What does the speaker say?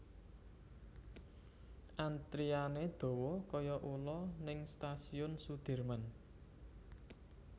Antriane dowo koyo ulo ning Stasiun Sudirman